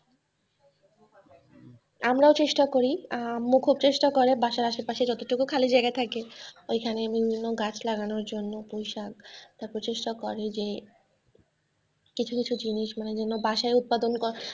আমরাও চেষ্টা করি, আর আম্মু ও খুব চেষ্টা করে বাসার আশেপাশে যত টুকু খালি জায়গা থাকে ওইখানে বিভিন্ন গাছ লাগানোর জন্য পুঁইশাক তার পর চেষ্টা করে যে কিছু কিছু জিনিস বাসায় উৎপাদন করা।